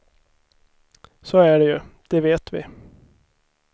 Så är det ju, det vet vi.